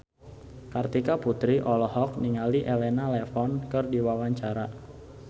Kartika Putri olohok ningali Elena Levon keur diwawancara